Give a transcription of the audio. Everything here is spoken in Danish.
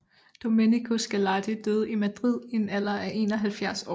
Domenico Scarlatti døde i Madrid i en alder af 71 år